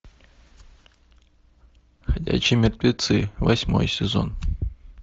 ходячие мертвецы восьмой сезон